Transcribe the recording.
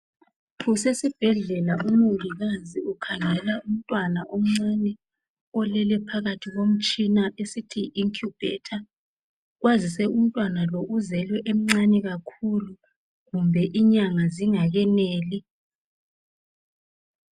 Kusesibhedlela umongikazi ukhangela umntwana omncane olele phakathi komtshina esithi yi inkiyubhetha kwazise umntwana lo uzelwe emncane kakhulu kumbe inyanga zingakeneli.